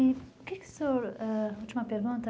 E o que o senhor ãh... Última pergunta.